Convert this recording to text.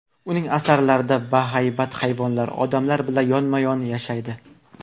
Uning asarlarida bahaybat hayvonlar odamlar bilan yonma-yon yashaydi.